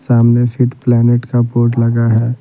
सामने Fit Planet का board लगा है।